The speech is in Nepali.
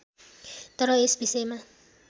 तर यस विषयमा